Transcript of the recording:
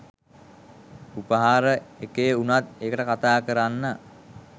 උපහාර එකේ උනත් එකට කතා කරන්න